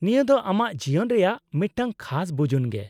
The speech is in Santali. -ᱱᱤᱭᱟᱹ ᱫᱚ ᱟᱢᱟᱜ ᱡᱤᱭᱚᱱ ᱨᱮᱭᱟᱜ ᱢᱤᱫᱴᱟᱝ ᱠᱷᱟᱥ ᱵᱩᱡᱩᱱ ᱜᱮ ᱾